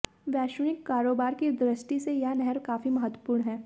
वैश्विक कारोबार की दृष्टि से यह नहर काफी महत्वपूर्ण है